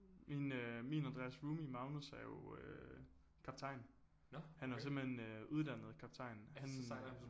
Min øh min og Andreas' roomie Magnus er jo øh kaptajn han er jo simpelthen øh uddannet kaptajn han